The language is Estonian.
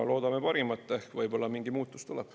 Loodame parimat, ehk võib-olla mingi muutus tuleb.